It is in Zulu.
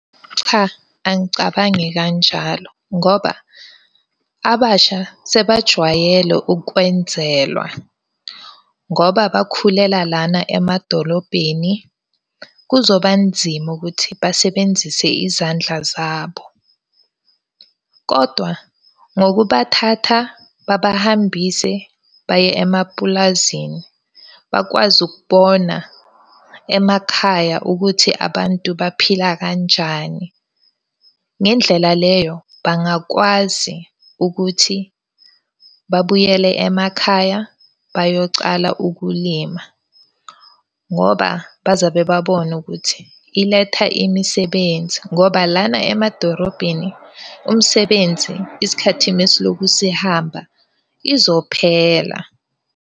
Cha, angicabangi kanjalo, ngoba abasha sebajwayele ukwenzelwa ngoba bakhulela lana emadolobheni. Kuzoba nzima ukuthi basebenzise izandla zabo. Kodwa ngokubathatha babahambise baye emapulazini bakwazi ukubona emakhaya ukuthi abantu baphila kanjani. Ngendlela leyo, bangakwazi ukuthi babuyele emakhaya bayocala ukulima. Ngoba bazobe babona ukuthi iletha imisebenzi ngoba lana emadorobheni umsebenzi, isikhathini esilokhu sihamba izophela.